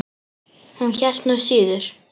Hún hélt nú síður.